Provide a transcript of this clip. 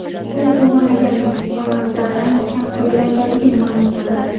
U o‘g‘irlangan olmoslardan kam foydalanganligini ma’lum qildi.